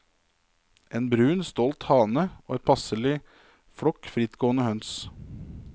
En brun, stolt hane og en passelig flokk frittgående høns.